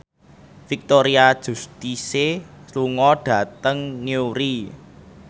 Victoria Justice lunga dhateng Newry